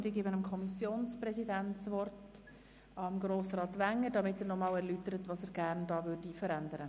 Ich erteile Grossrat Wenger das Wort, um sein Anliegen zu erläutern.